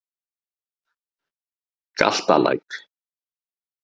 Galtalæk